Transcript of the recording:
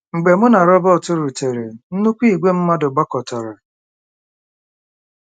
Mgbe mụ na Robert rutere, nnukwu ìgwè mmadụ gbakọtara..